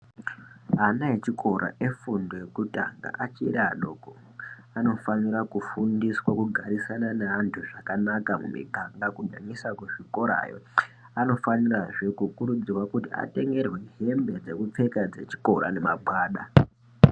Ana echikora efundo yekutanga achiri adoko anofanira kufundiswa kugarisane nentu zvakanaka mumiganga nyanyisa kuzvikorayo anofanirazve kurudzirwa kuti atengerwe hembe dzekupfeka dzechikora nemagwada.